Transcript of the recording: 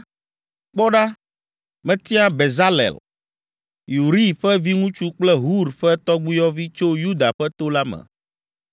“Kpɔ ɖa, metia Bezalel, Uri ƒe viŋutsu kple Hur ƒe tɔgbuiyɔvi tso Yuda ƒe to la me.